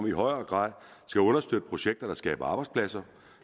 i højere grad understøtte projekter der skaber arbejdspladser